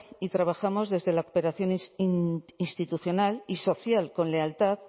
y trabajamos desde la cooperación institucional y social con lealtad